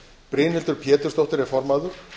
brynhildur pétursdóttir er formaður